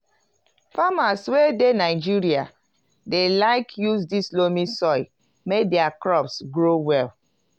farmers wey dey nigeria dey like use this loamy soil make their crops grow well.